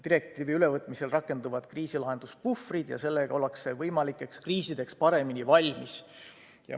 Direktiivi ülevõtmisel rakenduvad kriisilahenduspuhvrid ja selle tulemusel ollakse võimalikeks kriisideks paremini valmis.